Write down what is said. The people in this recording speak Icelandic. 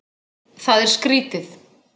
Það er skrýtið.